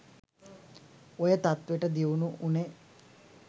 ඔය තත්වෙට දියුණු උනේ